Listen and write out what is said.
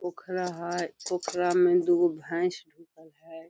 पोखरा हेय पोखरा में दू गो भैस डुकल हेय।